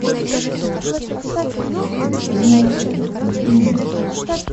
реформация включи мне